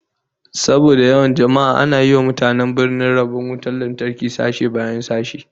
Saboda yawan jama'a ana yi wa mutanen birnin rabon wutar lantarki sashe bayan sashe